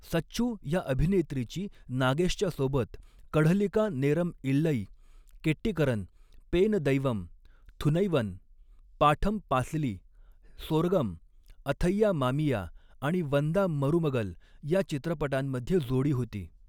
सच्चू या अभिनेत्रीची नागेशच्या सोबत 'कढलिका नेरम इल्लई', 'केट्टीकरन', 'पेन दैवम', 'थुनैवन', 'पाठम पासली', 'सोरगम', 'अथैया मामिया' आणि 'वंदा मरुमगल' या चित्रपटांमध्ये जोडी होती.